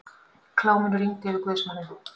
Kláminu rigndi yfir guðsmanninn.